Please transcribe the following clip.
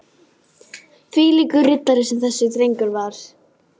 Þvílíkur riddari sem þessi drengur var.